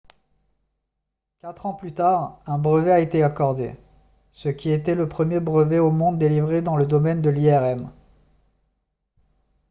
quatre ans plus tard un brevet a été accordé ce qui était le premier brevet au monde délivré dans le domaine de l'irm